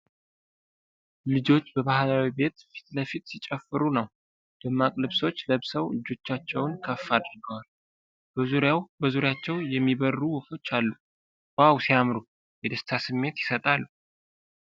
ልጆች በባህላዊ ቤት ፊት ለፊት ሲጨፍሩ ነው ። ደማቅ ልብሶች ለብሰው እጆቻቸውን ከፍ አድርገዋል ። በዙሪያቸው የሚበሩ ወፎች አሉ ። ዋው ሲያምሩ ! የደስታ ስሜት ይሰጣሉ ።